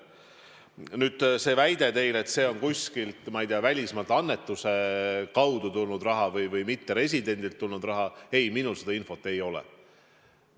Nüüd see teie väide, et see on kuskilt, ma ei tea, välismaalt annetuse kaudu saadud või mitteresidendilt tulnud raha – ei, minul sellist infot ei ole.